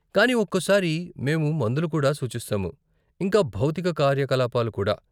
కానీ ఒక్కోసారి మేము మందులు కూడా సూచిస్తాము, ఇంకా భౌతిక కార్యకలాపాలు కూడా.